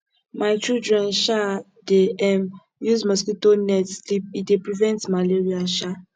my children um dey um use mosquito net sleep e dey prevent malaria um